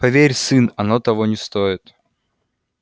поверь сын оно того не стоит